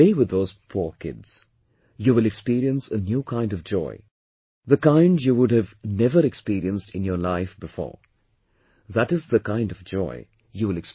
Play with those poor kids, you will experience a new kind of joy, the kind you would have never experienced in your life beforethat's the kind of joy you'll experience